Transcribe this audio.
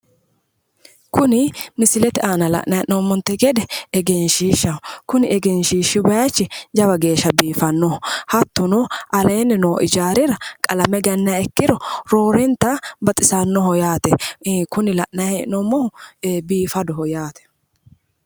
Kuni misilete aanna la'nayi he'noomonte gede egenshiishahaho Kuni egenshiishsh bayichi jawa geesha biifanoho hattonno aleeni noo ijaarira qalamme ganniha ikkiro roorennita baxisaanoho yaate Kuni la'nayi heenoomohu biifaddoho yaate